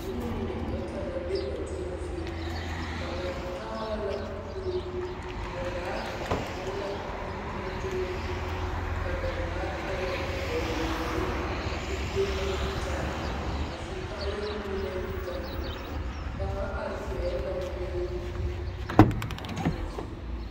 Noba mine bata la be ba toma zie. kaŋa taara la kuru. Ba zaa eŋ la nu bontoore. Ka ba haa lɛ hɔɔle zupil zulilee naŋ yitaa. A su kaayɛ meŋ naŋ yitaa. Kaŋa are pɛgl la kuru a toma zie.